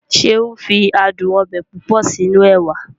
Seun fi adùn ọbẹ̀ púpọ̀ sínú ẹwà